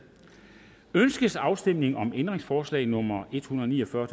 ønskes afstemning om ændringsforslag nummer en hundrede og ni og fyrre